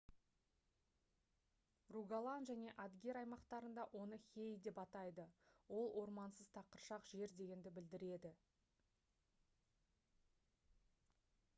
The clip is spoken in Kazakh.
ругаланн және адгер аймақтарында оны «hei» деп атайды. ол ормансыз тақыршақ жер дегенді білдіреді